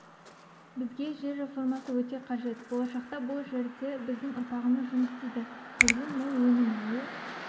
бізге жер реформасы өте қажет болашақта бұл жерде біздің ұрпағымыз жұмыс істейді жерден мол өнім алу